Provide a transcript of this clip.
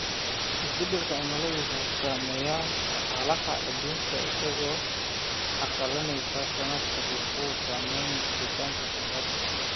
Isbeddelka cimiladu wuxuu saameeyaa dhaqaalaha adduunka isagoo carqaladeynaya saadka wuxuuna saameeyaa helitaanka kheyraadka.